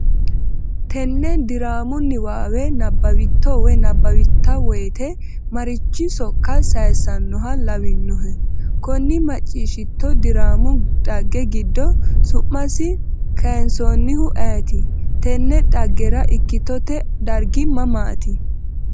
Tenne diraamu niwaawe nabbawitto/a woyte marichi sokka sayissannoha lawannohe? Konni macciishshitto diraamu dhagge giddo su’masi kayinsoonnihu ayeti? Tinne dhaggera ikkitote dargi mamaati?